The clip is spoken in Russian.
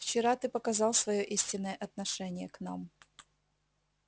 вчера ты показал своё истинное отношение к нам